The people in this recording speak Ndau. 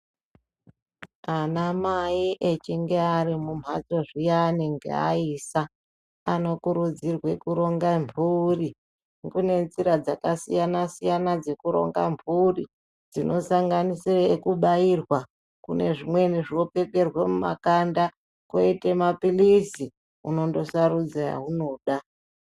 Ana mai echinge ari mumhatso zviyani ngaayisa anokurudzirwa kutonga mburi kine nzira dzakasiyana siyana dzekuronga mhuri dzinosanganisire ngengukubairwa nezvimweni zvinopfekerwe muma kanda koite mapilizi unone sarudze awunoda.